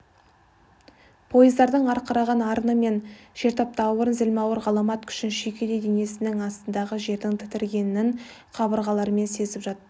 пойыздардың арқыраған арыны мен жертаптаурын зілмауыр ғаламат күшін шүйкедей денесінің астындағы жердің тітіренгенін қабырғаларымен сезіп жатты